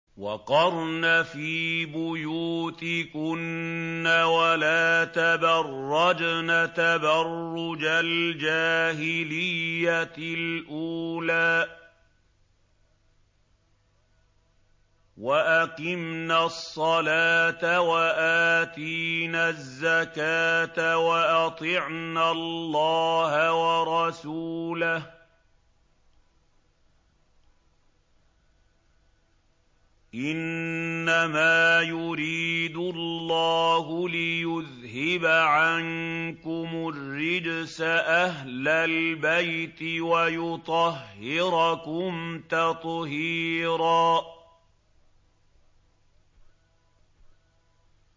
وَقَرْنَ فِي بُيُوتِكُنَّ وَلَا تَبَرَّجْنَ تَبَرُّجَ الْجَاهِلِيَّةِ الْأُولَىٰ ۖ وَأَقِمْنَ الصَّلَاةَ وَآتِينَ الزَّكَاةَ وَأَطِعْنَ اللَّهَ وَرَسُولَهُ ۚ إِنَّمَا يُرِيدُ اللَّهُ لِيُذْهِبَ عَنكُمُ الرِّجْسَ أَهْلَ الْبَيْتِ وَيُطَهِّرَكُمْ تَطْهِيرًا